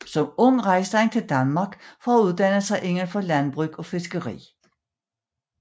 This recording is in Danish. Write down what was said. Som ung rejste han til Danmark for at uddanne sig indenfor landbrug og fiskeri